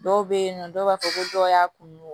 Dɔw bɛ yen nɔ dɔw b'a fɔ ko dɔw y'a kunun